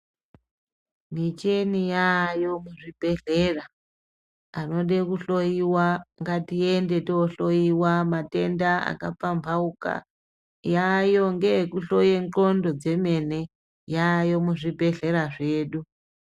Micheni yayo ku zvibhedhlera anode ku hloyiwa ngati ende to hloyiwa matenda aka pambaukana yayo ngeye ku hloya ndxondo dzemene yayo mu zvibhedhlera zvedu.